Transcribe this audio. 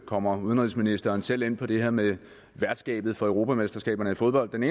kommer udenrigsministeren selv ind på det her med værtskabet for europamesterskaberne i fodbold men